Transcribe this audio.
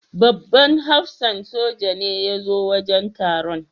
Babban hafsan soja ne ya zo wajen taron.